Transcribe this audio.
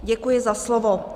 Děkuji za slovo.